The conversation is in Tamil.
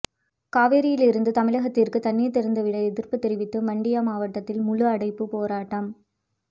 காவிரியில் இருந்து தமிழகத்திற்கு தண்ணீர் திறந்து விட எதிர்ப்பு தெரிவித்து மண்டியா மாவட்டத்தில் முழுஅடைப்பு போராட்டம்